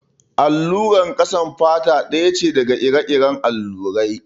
Allurar ƙasan fata ɗaya ce daga ire-iren allurai.